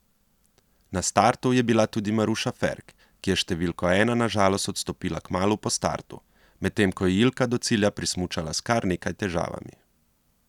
Na startu je bila tudi Maruša Ferk, ki je s številko ena na žalost odstopila kmalu po startu, medtem ko je Ilka do cilja prismučala s kar nekaj težavami.